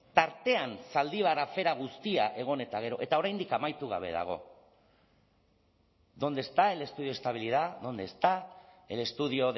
tartean zaldibar afera guztia egon eta gero eta oraindik amaitu gabe dago dónde está el estudio de estabilidad dónde está el estudio